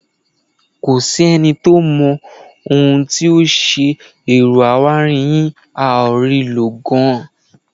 Kò sẹ́ni tó mọ ohun tó ṣe ẹ̀rọ awáirin yín, a ò rí i lò gan-an.